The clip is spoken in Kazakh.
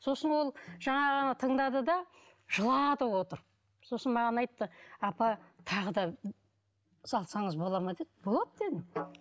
сосын ол жаңағыны тыңдады да жылады отырып сосын маған айтты апа тағы да салсаңыз бола ма деді болады дедім